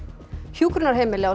hjúkrunarheimili á